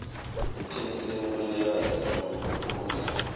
itheksthi lemukelekako lengenamaphutsa